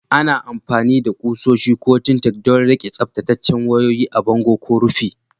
Ana amfani da kusoshi ko Tintacks don riƙe tsaftataccen wayoyi a bango ko rufi.